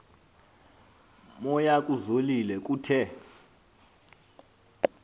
moya kuzolile kuthe